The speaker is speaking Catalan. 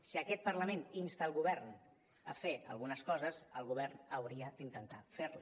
si aquest parlament insta el govern a fer algunes coses el govern hauria d’intentar fer les